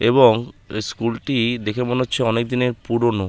এবং এই স্কুল টি দেখে মনে হচ্ছে অনেকদিনের পুরোনো ।